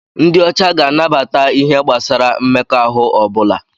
Ndị ọcha ga-anabata ihe gbasara mmekọahụ ọ bụla.